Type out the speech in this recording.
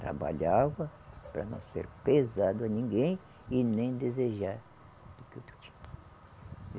Trabalhava para não ser pesado a ninguém e nem desejar do que o outro tinha.